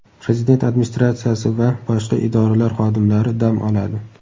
"Prezident Administratsiyasi va boshqa idoralar xodimlari dam oladi".